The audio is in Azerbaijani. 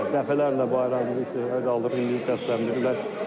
Dəfələrlə bayrağımız düşdü, qaldı, milli səsləndirdilər.